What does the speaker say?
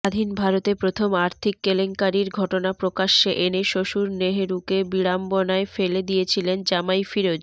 স্বাধীন ভারতে প্রথম আর্থিক কেলেঙ্কারির ঘটনা প্রকাশ্যে এনে শ্বশুর নেহরুকে বিড়ম্বনায় ফেলে দিয়েছিলেন জামাই ফিরোজ